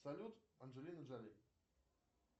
салют анджелина джоли